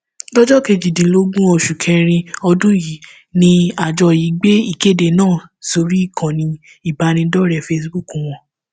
lọjọ kejìdínlógún oṣù kẹrin ọdún yìí ni àjọ yìí gbé ìkéde náà sórí ìkànnì ìbánidọrẹẹ facebook wọn